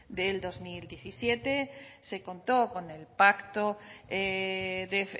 del dos mil diecisiete se contó con el pacto de